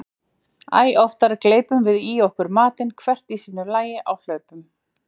Æ oftar gleypum við í okkur matinn hvert í sínu lagi á hlaupum.